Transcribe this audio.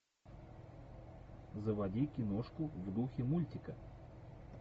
заводи киношку в духе мультика